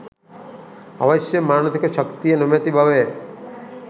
අවශ්‍ය මානසික ශක්තිය නොමැති බවය